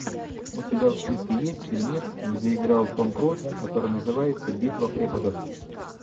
у тебя в списке есть фильмец где играл том круз который называется битва преподов